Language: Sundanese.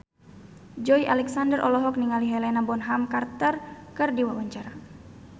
Joey Alexander olohok ningali Helena Bonham Carter keur diwawancara